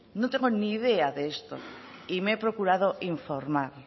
no tengo ni idea de esto y me he procurado informar